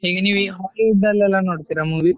ಈಗ ನೀವು Hollywood ಅಲ್ಲೆಲ್ಲ ನೋಡ್ತೀರಾ movie?